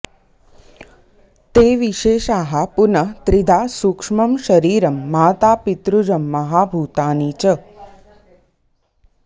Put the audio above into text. ते विशेषाः पुनः त्रिधा सूक्ष्मं शरीरं मातापितृजं महाभूतानि च